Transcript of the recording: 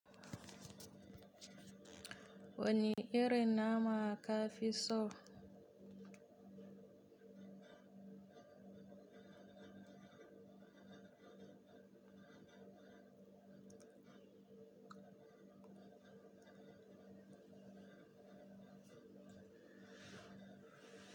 Wani irin nama ka fi so?